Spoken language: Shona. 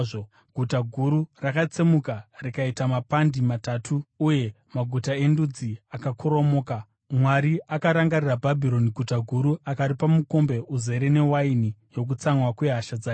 Guta guru rakatsemuka rikaita mapandi matatu uye maguta endudzi akakoromoka. Mwari akarangarira Bhabhironi guta guru akaripa mukombe uzere newaini yokutsamwa kwehasha dzake.